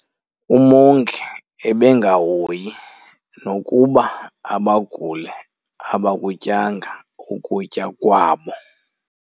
Umongi ebengahoyi nokuba abaguli abakutyanga ukutya kwabo.